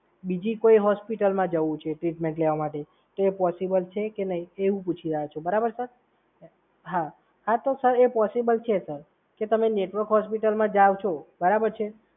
બીજી કોઈ હોસ્પિટલમાં જવું છે ટ્રીટમેન્ટ લેવા માટે તો પોસિબલ છે કે નહીં એ હું પૂછી લવ છું, બરાબર છે સર? હા તો સર એ પોસિબલ છે, સર. જો તમે નેટવર્ક હોસ્પિટલમાં જાવ છો, બરાબર છે?